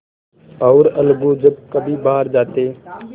और अलगू जब कभी बाहर जाते